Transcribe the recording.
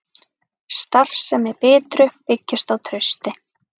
Starfsemi Bitru byggist á trausti